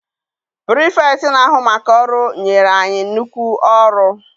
Pirifetktị na-ahu maka ọrụ nyere anyị nnukwu ọrụ.